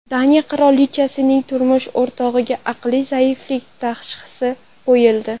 Daniya qirolichasining turmush o‘rtog‘iga aqliy zaiflik tashxisi qo‘yildi.